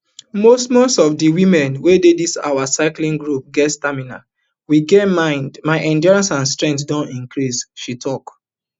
most most of di women wey dey dis our cycling group get stamina we get mind my endurance and strength don increase she tok